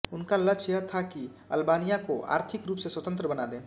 उनका लक्ष्य यह था कि अल्बानिया को आर्थिक रूप से स्वतंत्र बना दें